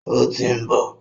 Ó tí ń bọ̀.